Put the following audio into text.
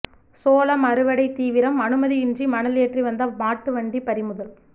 சோளம் அறுவடை தீவிரம் அனுமதியின்றி மணல் ஏற்றி வந்த மாட்டு வண்டி பறிமுதல்